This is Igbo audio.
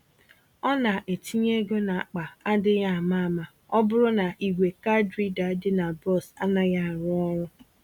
Ọ na-etinye égo n'akpa adịghị àmà-àmà ọbụrụ na ìgwè card reader dị na bọs anaghị arụ ọrụ.